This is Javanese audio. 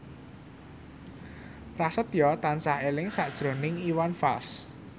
Prasetyo tansah eling sakjroning Iwan Fals